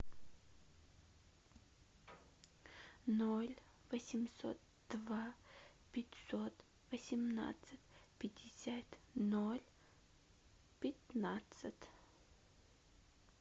ноль восемьсот два пятьсот восемнадцать пятьдесят ноль пятнадцать